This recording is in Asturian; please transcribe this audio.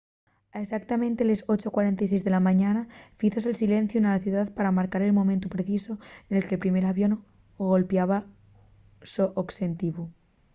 a exautamente les 8:46 de la mañana fízose’l silenciu na ciudá pa marcar el momentu precisu nel que’l primer avión golpiaba’l so oxetivu